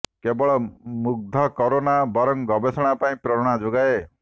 କେବଳ ମୁଗ୍ଧ କରେନା ବରଂ ଗବେଷଣା ପାଇଁ ପ୍ରେରଣା ଯୋଗାଏ